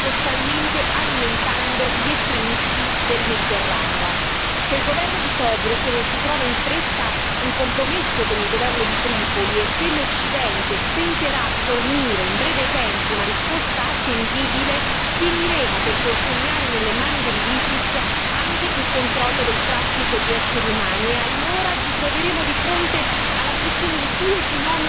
Se il governo di Tobruk non trova in fretta un compromesso con il governo di Tripoli e se l'Occidente stenterà a fornire in breve tempo una risposta attendibile, finiremo per consegnare nelle mani dell'ISIS anche il controllo del traffico di esseri umani e allora ci troveremo di fronte alla fusione di due fenomeni un tempo distinti quello dell'immigrazione e quello dell'islamismo